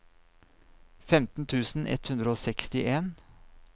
femten tusen ett hundre og sekstien